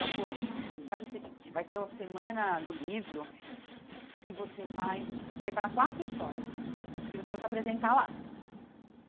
Ela falou, faz o seguinte, vai ter uma semana do livro e você vai preparar quatro histórias e você vai se apresentar lá.